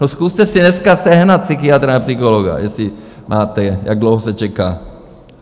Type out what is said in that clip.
No, zkuste si dneska sehnat psychiatra nebo psychologa, jestli máte, jak dlouho se čeká.